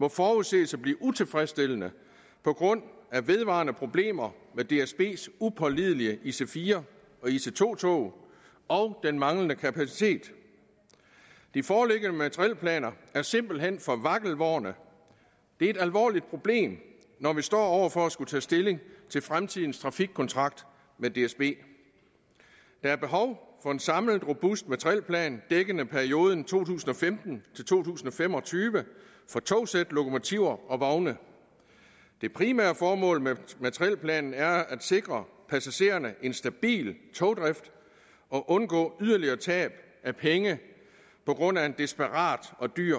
må forudses at blive utilfredsstillende på grund af vedvarende problemer med dsbs upålidelige ic4 og ic2 tog og den manglende kapacitet de foreliggende materielplaner er simpelt hen for vakkelvorne det er et alvorligt problem når vi står over for at skulle tage stilling til fremtidens trafikkontrakt med dsb der er behov for en samlet robust materielplan dækkende perioden to tusind og fem og tyve for togsæt lokomotiver og vogne det primære formål med materielplanen er at sikre passagererne en stabil togdrift og at undgå yderligere tab af penge på grund af en desperat og dyr